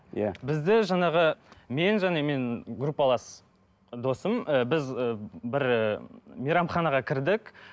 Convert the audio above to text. иә бізде жаңағы мен және мен группалапас досым ыыы біз ы бір ыыы мейрамханаға кірдік